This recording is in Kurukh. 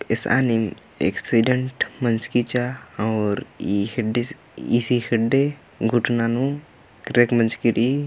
एसानीम एक्सिडेंट मंजकी चा और ई खेडडे ईसी खेडडे घूटना नु क्रेक मंजकी रइई --